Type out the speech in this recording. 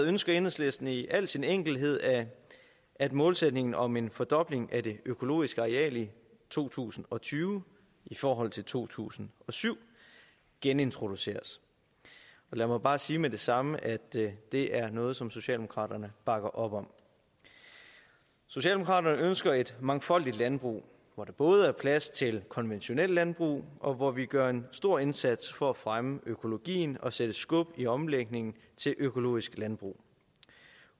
ønsker enhedslisten i al sin enkelthed at at målsætningen om en fordobling af det økologiske areal i to tusind og tyve i forhold til to tusind og syv genintroduceres og lad mig bare sige med det samme at det det er noget som socialdemokraterne bakker op om socialdemokraterne ønsker et mangfoldigt landbrug hvor der både er plads til konventionelt landbrug og hvor vi gør en stor indsats for at fremme økologien og sætte skub i omlægningen til økologisk landbrug